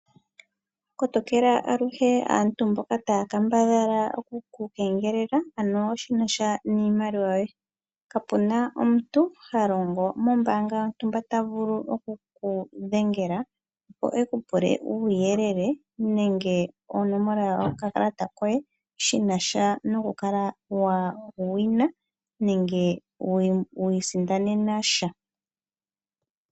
Kotokela aluhe aakegeleli mboka taa kambadha okuku kegelela shi nasha niimaliwa. Kapu na omuniilonga ha longo mombanga ndele oteku dhengele e ku pule onomola yokakala koye, shina sha nomasindano ga sha.